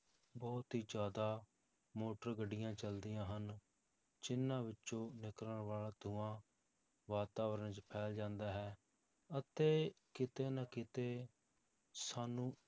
ਬਹੁਤ ਹੀ ਜ਼ਿਆਦਾ ਮੋਟਰ ਗੱਡੀਆਂ ਚੱਲਦੀਆਂ ਹਨ, ਜਿੰਨਾਂ ਵਿੱਚੋਂ ਨਿਕਲਣ ਵਾਲਾ ਧੂੰਆ ਵਾਤਾਵਰਨ 'ਚ ਫੈਲ ਜਾਂਦਾ ਹੈ, ਅਤੇ ਕਿਤੇ ਨਾ ਕਿਤੇ ਸਾਨੂੰ